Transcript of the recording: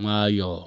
nwayọọ.